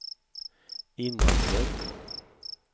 innanför